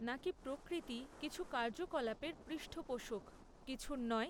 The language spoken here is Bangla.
নাকি প্রকৃতি কিছু কার্যকলাপের পৃষ্ঠপোষক, কিছুর নয়?